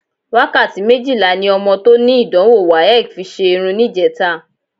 Wákàtí méjìlá ni ọmọ tó ní ìdánwò WAEC fi ṣe irun níjẹta